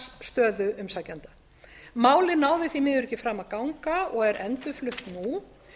fjárhagsstöðu umsækjenda málið náði því miður ekki fram að ganga og er endurflutt nú